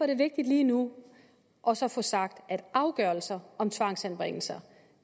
det vigtigt lige nu også at få sagt at afgørelser om tvangsanbringelser